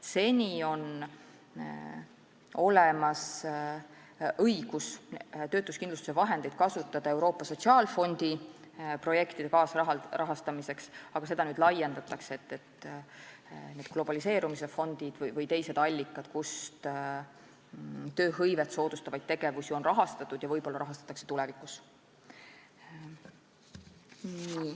Seni on olemas õigus kasutada töötuskindlustuse vahendeid Euroopa Sotsiaalfondi projektide kaasrahastamiseks, aga nüüd seda laiendatakse nende globaliseerumise fondide või teiste allikatega, kust tööhõivet soodustavaid tegevusi on rahastatud ja võib-olla rahastatakse tulevikus.